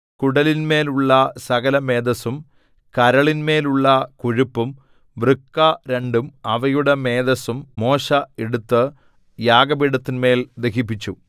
കുടലിന്മേലുള്ള സകലമേദസ്സും കരളിന്മേലുള്ള കൊഴുപ്പും വൃക്ക രണ്ടും അവയുടെ മേദസ്സും മോശെ എടുത്തു യാഗപീഠത്തിന്മേൽ ദഹിപ്പിച്ചു